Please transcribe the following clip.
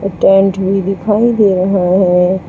Tent भी दिखाई दे रहा है।